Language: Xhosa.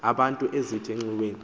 abantu ezithi xweni